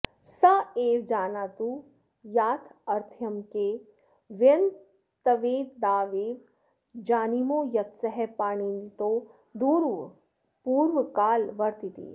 स एव जानातु याथार्थ्यम् के वयन्त्वेतावदेव जानीमो यत्सः पाणिनितो दूरपूर्वकालवर्तीति